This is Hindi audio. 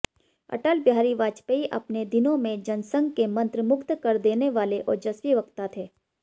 अटल बिहारी वाजपेयी अपने दिनों में जनसंघ के मंत्रमुग्ध कर देने वाले ओजस्वी वक्ता थे